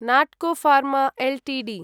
Natco pharma Ltd